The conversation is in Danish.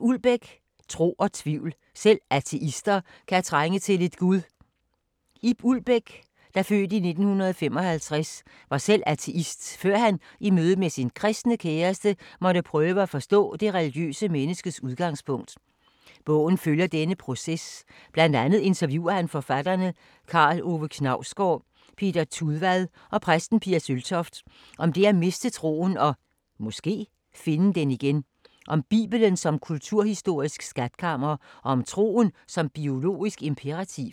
Ulbæk, Ib: Tro og tvivl: selv ateister kan trænge til lidt gud Ib Ulbæk (f. 1955) var selv ateist, før han i mødet med sin kristne kæreste, måtte prøve at forstå det religiøse menneskes udgangspunkt. Bogen følger denne proces, bl.a. interviewer han forfatterne Karl Ove Knausgård, Peter Tudvad og præsten Pia Søltoft, om det at miste troen og (måske) finde den igen, om bibelen som kulturhistorisk skatkammer og om troen som biologisk imperativ.